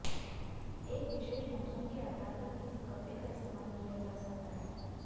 एक विशेष मौसम के आधार पर किसी कपड़े का इस्तेमाल किया जा सकता है